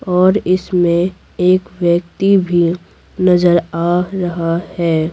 और इसमें एक व्यक्ति भी नजर आ रहा है।